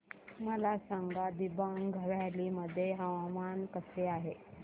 मला सांगा दिबांग व्हॅली मध्ये हवामान कसे आहे